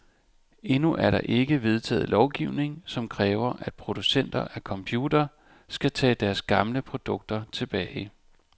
Endnu er der ikke vedtaget lovgivning, som kræver, at producenter af computere skal tage deres gamle produkter tilbage.